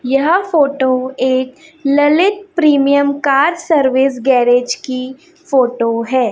यह फोटो एक Lalit premium car service garage की फोटो है।